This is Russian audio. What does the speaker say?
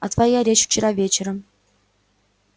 а твоя речь вчера вечером